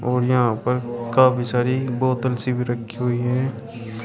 और यहां पर काफी सारी बोतल सी भी रखी हैं।